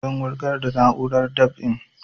Zan wurgar da na'urar dab'in